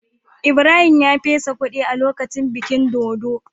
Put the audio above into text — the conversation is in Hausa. Ibrahim ya fesa kudi a lokacin bikin dodo.